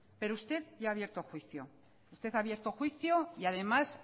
pero usted ya ha abierto juicio usted ha abierto juicio y además